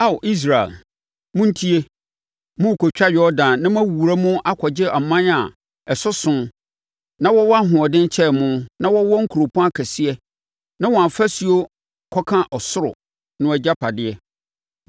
Ao Israel, montie! Morekɔtwa Yordan na moawura mu akɔgye aman a ɛsoso na wɔwɔ ahoɔden kyɛn mo na wɔwɔ nkuropɔn akɛseɛ na wɔn afasuo kɔka sorosoro no agyapadeɛ.